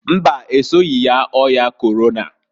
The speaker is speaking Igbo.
Mbaǃ Esoghi yaa ọya Korona.